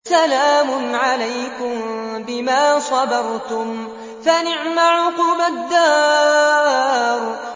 سَلَامٌ عَلَيْكُم بِمَا صَبَرْتُمْ ۚ فَنِعْمَ عُقْبَى الدَّارِ